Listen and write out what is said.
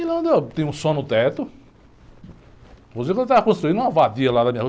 E lá onde eu, tem um som no teto, inclusive eu estava construindo uma lá na minha rua.